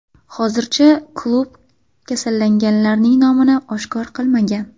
Hozircha klub kasallanganlarning nomini oshkor qilmagan.